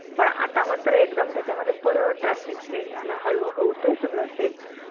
पण आता मात्र एक्दम त्याचा मध्ये परत drastic change झाला, हळून होतय सगळं सेट्स